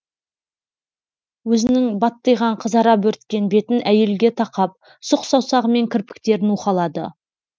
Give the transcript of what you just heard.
өзінің баттиған қызара бөрткен бетін әйелге тақап сұқ саусағымен кірпіктерін уқалады